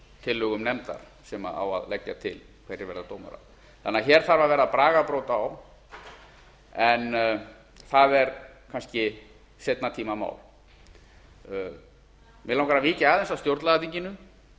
tillögum nefndar sem á að leggja til hverjir verða dómarar þannig að hér þarf að verða bragarbót á en það er kannski seinni tíma mál mig langar að víkja aðeins að stjórnlagaþinginu